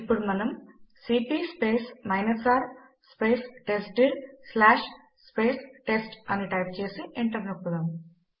ఇప్పుడు మనము CP R test dir test అని టైప్ చేసి ఎంటర్ నొక్కుదాం